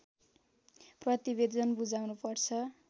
प्रतिवेदन बुझाउनु पर्छ